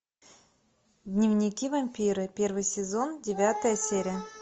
дневники вампира первый сезон девятая серия